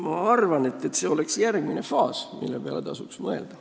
Ma arvan, et see on järgmine faas, mille peale tasuks mõelda.